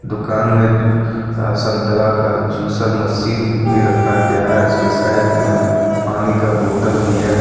दुकान में अ संतरा का जूसर मशीन भी रखा गया है उसके साइड में पानी का बोतल भी है।